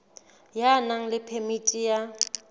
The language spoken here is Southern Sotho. ya nang le phemiti ya